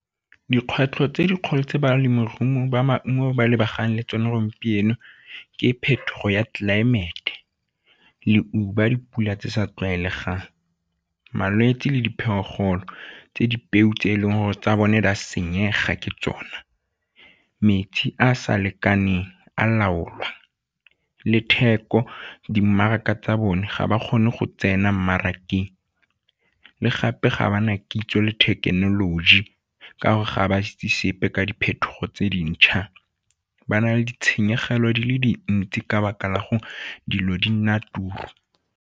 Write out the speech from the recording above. Dikgwetlho tse dikgolo tse balemirui ba maungo ba lebagane le tsone gompieno ke phetogo ya tlelaemete, leuba, dipula tse di sa tlwaelegang, malwetse le diphologolo tse di peu tse e leng gore tsa bone di a senyega ke tsona, metsi a a sa lekaneng a laolwa. Le theko, di mmaraka tsa bone ga ba kgone go tsena mmarakeng le gape ga ba na kitso le thekenoloji ka gore ga ba sa itse sepe ka diphetogo tse dintšha, ba na le ditshenyegelo di le dintsi ka lebaka la gore dilo di nna .